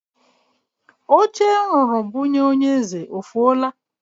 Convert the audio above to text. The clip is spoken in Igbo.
Oche m rụrụ bunye onye eze o fuola?